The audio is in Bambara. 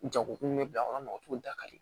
Jagokun bɛ bila kɔnɔ mɔgɔ t'o da ka di